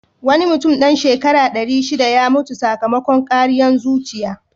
Wani mutum dan shekara ɗari shiɗa ya mutu sakamakon ƙariyan zuciya.